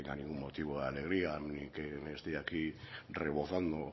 tenga ningún motivo de alegría ni que me esté aquí rebozando